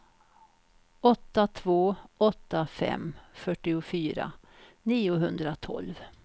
åtta två åtta fem fyrtiofyra niohundratolv